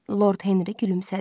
Lord Henri gülümsədi.